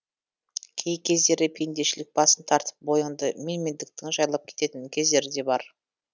кей кездері пендешілік басым тартып бойыңды менмендіктің жайлап кететін кездері де бар